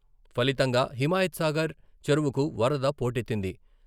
ఫలితంగా హిమాయత్ సాగర్ చెరువుకు వరద పోటెత్తింది.